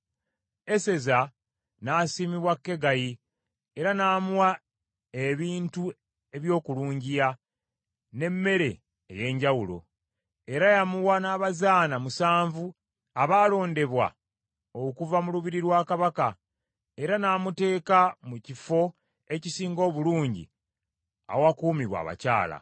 Eseza n’asiimibwa Kegayi, era n’amuwa ebintu eby’okulungiya, n’emmere ey’enjawulo. Era yamuwa n’abazaana musanvu abaalondebwa okuva mu lubiri lwa Kabaka, era n’amuteeka mu kifo ekisinga obulungi awakuumibwa abakyala.